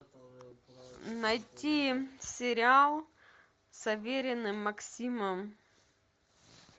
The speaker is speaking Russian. найти сериал с авериным максимом